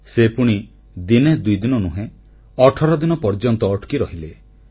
ସେ ପୁଣି ଦିନେ ଦୁଇଦିନ ନୁହେଁ ଅଠର ଦିନ ପର୍ଯ୍ୟନ୍ତ ଅଟକି ରହିଲେ